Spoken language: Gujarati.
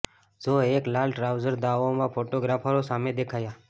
ઝો એક લાલ ટ્રાઉઝર દાવો માં ફોટોગ્રાફરો સામે દેખાયા